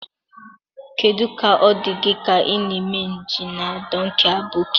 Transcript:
Kedu ka ọ dị gị ka ị na-eme njem na Dọnkii Aboki?